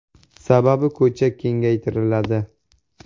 Sababi, ko‘cha kengaytiriladi.